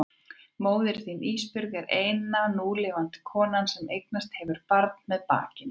Móðir þín Ísbjörg er eina núlifandi konan sem eignast hefur barn með bakinu.